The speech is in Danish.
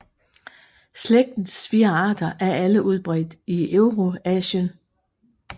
Slægtens fire arter er alle udbredt i Eurasien